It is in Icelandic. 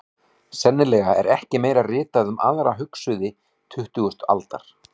Sennilega er ekki meira ritað um aðra hugsuði tuttugustu aldar.